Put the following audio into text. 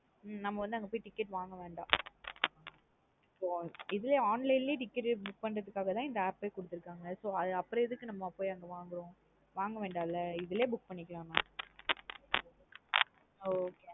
ஹம் நம்ம வந்து அங்க போய் ticket வாங்க வேண்டாம். இது லையே online லையே ticket book பண்றது கு காக தன் இந்த app ஏ குடுத்ருகாங்க. so அப்பறம் எதுக்கு அங்க நம்ம போய் அங்க வாங்கறோம். வாங்க வேண்டன்ல இதுலே book பண்ணிக்கலாம் நா okay நா